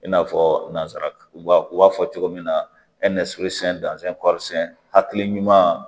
I n'a fɔ nanzara u b'a fɔ cogo min na hakili ɲuman